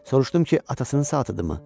Soruşdum ki, atasının saatıdır mı?